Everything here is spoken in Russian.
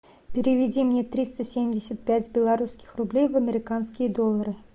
переведи мне триста семьдесят пять белорусских рублей в американские доллары